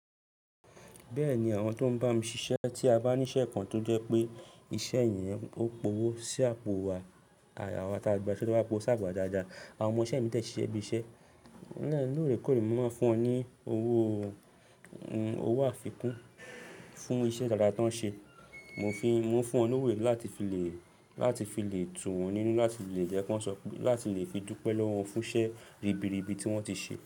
Bẹ́ẹ̀ni, àwọn tó ń bá mi ṣiṣẹ́ tí a bá ní iṣẹ́ kan tó jẹ́ pé iṣẹ́ yẹn ó powó sí àpò wa, àwà tá a gba ṣẹ́ to bá powo ṣà po wa dáadáa, àwọn ọmọ iṣe mi dẹ siṣe bí iṣẹ́. Lóòrèkóòrè mo n máa ń fún wọn ní owó, owó àfikún fún iṣẹ́ dáadáa tan ṣe. Mo ń fi, mo ń fún wọn lówó yii láti fi le, láti fi le tù wọ́n nínú láti fi llè jẹ́ kí wọ́n sọ pé, láti lè fi dúpẹ́ lọ́wọ́ fún iṣẹ́ ribiribi tí wọ́n ti ṣe.